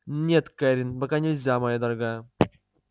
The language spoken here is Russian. нет кэррин пока нельзя моя дорогая